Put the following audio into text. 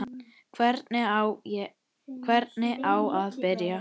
Hvernig á að byrja?